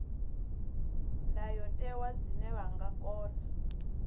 ndayotewa zwine vha nga kona